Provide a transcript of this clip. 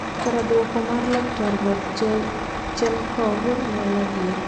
Kara bwoko mar laktar Rodchenkov en adier."